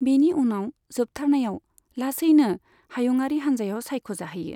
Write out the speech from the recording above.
बेनि उनाव जोबथारनायाव लासैन हायुङारि हानजायाव सायख' जाहैयो।